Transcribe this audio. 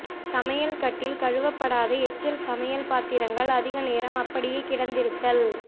சமையல்கட்டில் கழுவப்படாத எச்சில் சமையல் பாத்திரங்கள் அதிக நேரம் அப்படியே கிடந்திருத்தல்